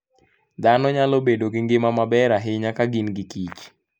Dhano nyalo bedo gi ngima maber ahinya ka gin gikich